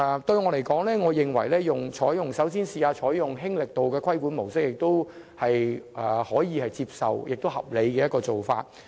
對我來說，先嘗試"輕力度"的規管模式是可以接受和合理的做法。